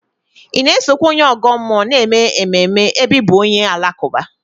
Ị na-esokwa onye ọgọ mmụọ na-eme ememe ebe ị bụ onye Alakụba?